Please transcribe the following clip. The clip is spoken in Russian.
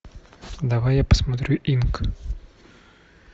давай я посмотрю инк